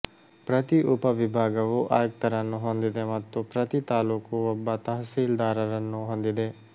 ಪ್ರತಿ ಉಪ ವಿಭಾಗವು ಆಯುಕ್ತರನ್ನು ಹೊಂದಿದೆ ಮತ್ತು ಪ್ರತಿ ತಾಲ್ಲೂಕು ಒಬ್ಬ ತಹಸೀಲ್ದಾರರನ್ನು ಹೊಂದಿದೆ